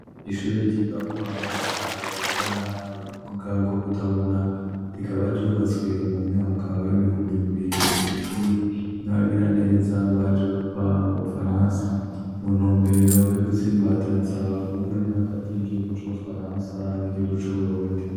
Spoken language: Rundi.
Ishure ryigako abana bagendana ubumuga bwo kutabona, rikaba ryubatswe mu myaka y'ibihumbi bibiri na cumi n'abagiraneza baje bava mu Bufaransa mu ntumbero yo gutsimbataza ubumwe hagati y'igihugu c'Ubufaransa n'igihugu c'Uburundi.